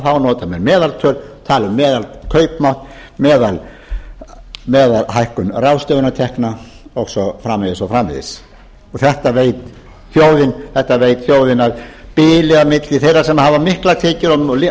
þá nota menn meðaltöl tala um meðalkaupmátt meðalhækkun ráðstöfunartekna og svo framvegis og svo framvegis þetta veit þjóðin að bilið á milli þeirra sem hafa miklar tekjur og